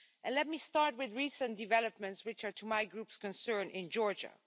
Let me start with recent developments which are to my group's concern in Georgia.